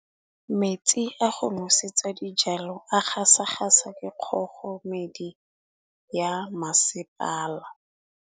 Metsi a go nosetsa dijalo a gasa gasa ke kgogomedi ya masepala.